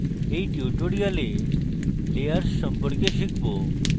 in tutorial আমরা layers সম্পর্কে শিখব